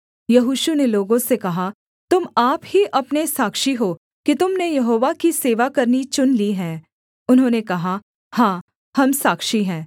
यहोशू ने लोगों से कहा तुम आप ही अपने साक्षी हो कि तुम ने यहोवा की सेवा करनी चुन ली है उन्होंने कहा हाँ हम साक्षी हैं